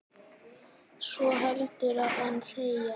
svo heldur en þegja